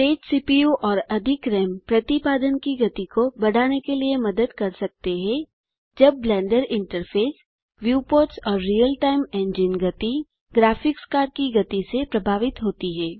तेज CPU और अधिक RAM प्रतिपादन की गति को बढ़ाने के लिए मदद कर सकते हैंजब ब्लेंडर इंटरफेस व्यूपोर्ट्स और रियल टाइम इंजन गति ग्राफिक्स कार्ड की गति से प्रभावित होती है